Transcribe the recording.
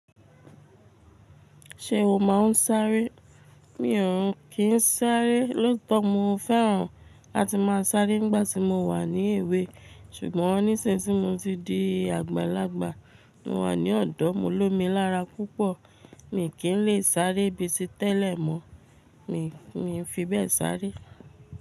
Ṣé o máa ń sáré? Mí òún kí ń sáré. Lóoto mo fẹ́ràn láti máa sáré nígbà tí mo wà ní èwe. Ṣùgbọ́n nísinsinyí tí mo ti di àgbàlagbà, mo wà ní ọ̀dọ́, mo lómi lára púpọ̀. Mi kì í lè sáré bíi ti tẹ́lẹ̀ mọ. Mi fi bẹ́ẹ̀ sáré.